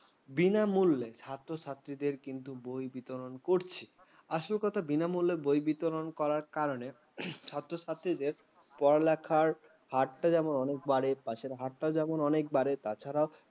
বিনামূল্যে ছাত্র-ছাত্রীদের কিন্তু বই বিতরণ করছে আসল কথা বিনামূল্যে বই বিতরণ করার কারণে ছাত্র-ছাত্রীদের পড়ালেখার হার টা যেমন বাড়ে পাশের হাতটা যখন অনেক বারে তাছাড়া